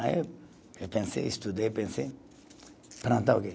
Aí eu eu pensei, estudei, pensei, plantar o quê?